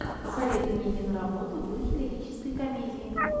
посоветуй мне киноработу в духе лирической комедии